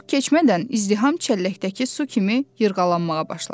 Çox keçmədən izdiham çəlləkdəki su kimi yırğalanmağa başladı.